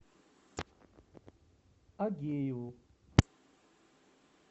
агееву